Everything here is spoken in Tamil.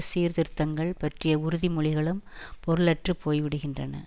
சீர்திருத்தங்கள் பற்றிய உறுதிமொழிகளும் பொருளற்று போய்விடுகின்றன